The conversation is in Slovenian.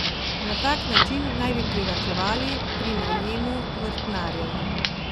Na tak način naj bi privarčevali pri najemu vrtnarjev.